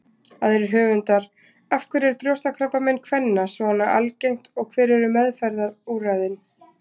Aðrir höfundar: Af hverju er brjóstakrabbamein kvenna svona algengt og hver eru meðferðarúrræðin?